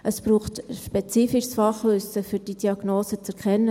Es braucht ein spezifisches Fachwissen, um diese Diagnose zu erkennen.